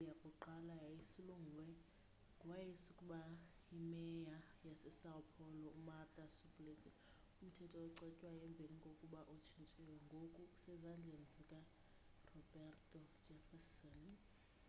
ibill yakuqala yayisulungwe ngowayeaskuba yi mayor yasesão paulo umarta suplicy. umthetho ocetywayo emveni kokuba utshintshiwe ngoku usezzandleni zikaroberto jefferson